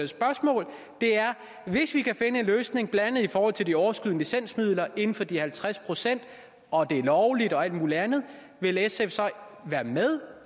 spørgsmål hvis vi kan finde en løsning blandt andet i forhold til de overskydende licensmidler inden for de halvtreds procent og det er lovligt og alt mulig andet vil sf så være med